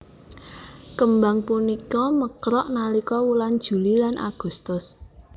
Kembang punika mekrok nalika wulan Juli lan Agustus